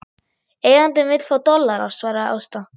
Eigandinn vill fá dollara, svaraði Ásta.